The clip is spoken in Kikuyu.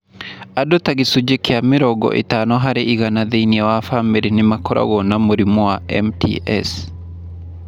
Andũ ta gĩcunjĩ kĩa mĩrongo ĩtano harĩ igana thĩinĩ wa bamĩrĩ nĩ makoragwo na mũrimũ wa MTS.